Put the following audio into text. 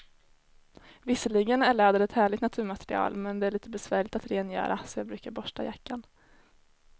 Visserligen är läder ett härligt naturmaterial, men det är lite besvärligt att rengöra, så jag brukar borsta jackan.